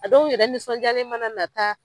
A dɔw yɛrɛ nisɔnjalen mana na taa.